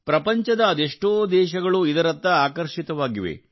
ಪ್ರಪಂಚದ ಅದೆಷ್ಟೋ ದೇಶಗಳು ಇದರತ್ತ ಆಕರ್ಷಿತವಾಗಿವೆ